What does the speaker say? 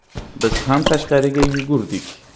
“Biz ham tashqariga yugurdik.